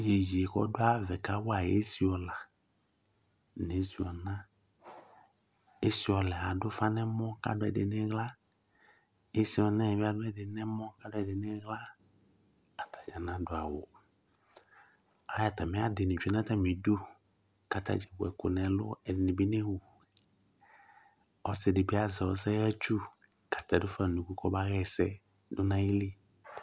Iyeye k'ɔdu ayavaɛ ka wa esi ɔla n'esi ɔna, esi ɔlaɛ adu ufa n'ɔmɔ ku adu ɛdi n'iɣla, esì ɔnaɛ bi adu ɛdi n'ɔmɔ k'adu ɛdi n'iɣla k'atadza k'adu awù Atamìadi ni tsue n'atamì du k'atadzakplo ewu ɛku n'ɛlu, k'ɛdi ni bi n'ewu, ɔsi di bi azɛ ɔsɛhatsu k'atɛ du fa nu unuku k'ɔba hɛsɛ du n'ayili